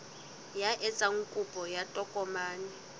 ya etsang kopo ya tokomane